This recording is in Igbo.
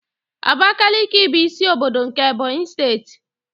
Abakiliki bụ isi ọbọdọ nke Ebonyi steeti.